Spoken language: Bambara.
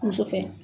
Muso fɛ